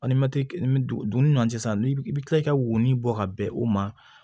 na sisan i bɛ kila i ka woni bɔ ka bɛn o ma